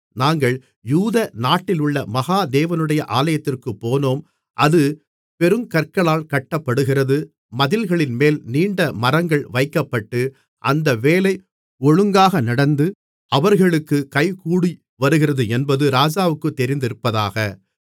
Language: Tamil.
நாங்கள் யூத நாட்டிலுள்ள மகா தேவனுடைய ஆலயத்திற்குப் போனோம் அது பெருங்கற்களால் கட்டப்படுகிறது மதில்களின்மேல் நீண்ட மரங்கள் வைக்கப்பட்டு அந்த வேலை ஒழுங்காக நடந்து அவர்களுக்குக் கைகூடிவருகிறதென்பது ராஜாவுக்குத் தெரிந்திருப்பதாக